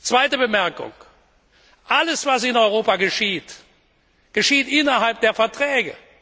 Zweitens Alles, was in Europa geschieht, geschieht innerhalb der Verträge.